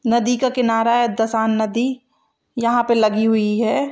नदी का किनारा है। दसान नदी यहाँ पे लगी हुई है।